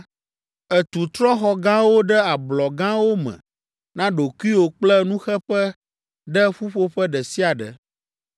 ètu trɔ̃xɔ gãwo ɖe ablɔ gãwo me na ɖokuiwò kple nuxeƒe ɖe ƒuƒoƒe ɖe sia ɖe.